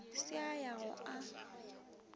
se a ya go a